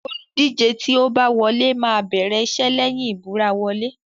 Olùdíje tí ó bá wọlé máa bẹ̀rẹ̀ iṣẹ́ lẹ́yìn ìbúra wọlé.